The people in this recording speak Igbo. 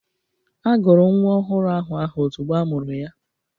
Agụrụ nwa ọhụrụ ahụ aha ozigbo amụrụ ya.